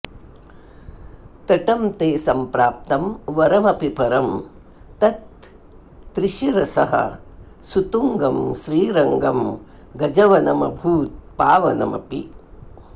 तटं ते संप्राप्तं वरमपि परं तत्त्रिशिरसः सुतुङ्गं श्रीरङ्गं गजवनमभूत् पावनमपि